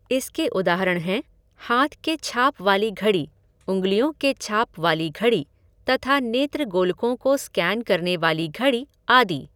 इसके उदाहरण हैं हाथ के छाप वाली घड़ी, उंगलियों के छाप वाली घड़ी, तथा नेत्रगोलकों को स्कैन करने वाली घड़ी, आदि।